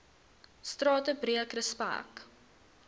strate breek respek